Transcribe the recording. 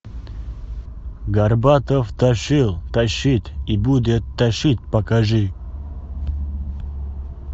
горбатов тащил тащит и будет тащить покажи